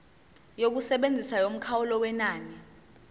yokusebenza yomkhawulo wenani